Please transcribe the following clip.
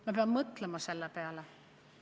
Ma pean selle peale mõtlema.